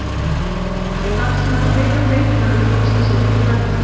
Ég var ljótur einsog þú þegar ég var lítill Ísbjörg, segir pabbi.